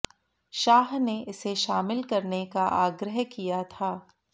शाह ने इसे शामिल करने का आग्रह किया था